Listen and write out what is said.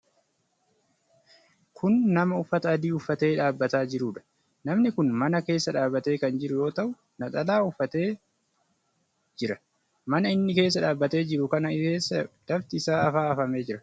Kun nama uffata adii uffatee dhaabataa jiruudha. Nami kun mana keessa dhabatee kan jiru yoo ta'u, naxalaa illee uffatee jira. Mana inni keessa dhaabatee jiru kana keessa lafti isaa afaa afamee jira.